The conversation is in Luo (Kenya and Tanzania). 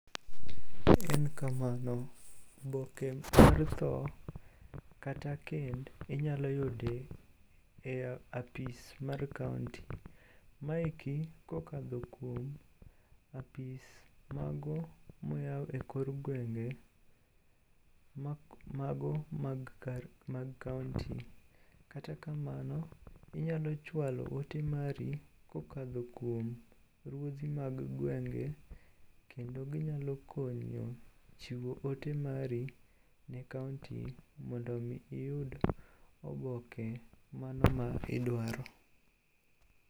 En kamano. Oboke mar tho kata kend inyalo yudo e apis mar kaonti. Maeki kokadho kuom apis mago moyaw e kor gwenge mago mag kaonti. Kata kamano inyalo chwalo ote mari kokadho kuom ruodhi mag gwenge kendo ginyalo konyo chiwo ote mari ne kaonti mondo omi iyud oboke mano ma idwaro.